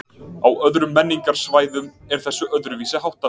Á öðrum menningarsvæðum er þessu öðruvísi háttað.